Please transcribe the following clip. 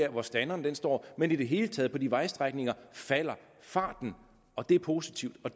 hvor standeren står men i det hele taget på de vejstrækninger falder farten og det er positivt og